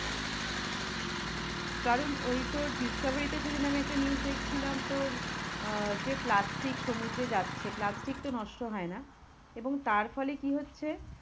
কারণ ওই তোর discovery তে সেদিন আমি একটা news দেখছিলাম তোর আহ যে, plastic সমুদ্রে যাচ্ছে plastic তো নষ্ট হয়ে না এবং তার ফলে কি হচ্ছে?